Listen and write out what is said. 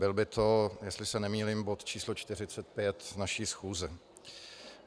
Byl by to, jestli se nemýlím, bod č. 45 naší schůze.